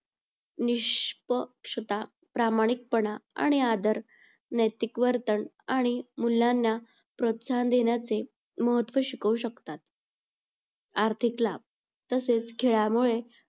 निष्पक्षता प्रामाणिकपणा आणि आदर, नैतिक वर्तन आणि मुलांना प्रोत्साहन देण्याचे महत्व शिकवू शकतात. आर्थिक लाभ. तसेच खेळामुळे